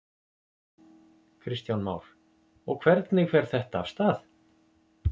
Kristján Már: Og hvernig fer þetta af stað?